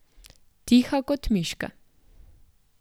Tiha kot miške.